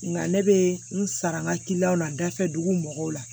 Nka ne bɛ n sara n ka na gafe dugu mɔgɔw la